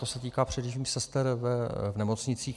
To se týká především sester v nemocnicích.